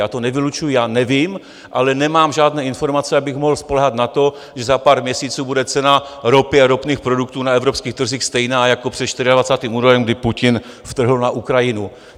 Já to nevylučuji, já nevím, ale nemám žádné informace, abych mohl spoléhat na to, že za pár měsíců bude cena ropy a ropných produktů na evropských trzích stejná jako před 24. únorem, kdy Putin vtrhl na Ukrajinu.